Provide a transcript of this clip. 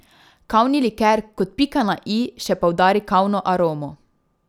Kavni liker kot pika na i še poudari kavno aromo.